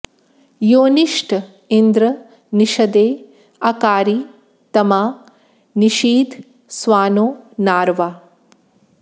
योनिष्ट इन्द्र निषदे अकारि तमा नि षीद स्वानो नार्वा